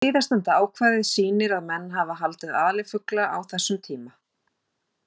Síðastnefnda ákvæðið sýnir að menn hafa haldið alifugla á þessum tíma.